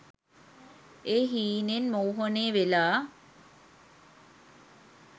ඒ හීනේන් මෝහනය වෙලා.